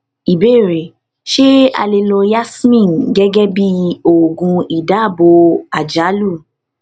ìbéèrè ṣé a lè lo yasmin gẹgẹ bí oògùn ìdabò àjálù